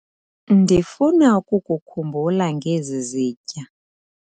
Ndifuna ukukhumbula ngezi zitya.